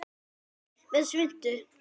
Með svuntu.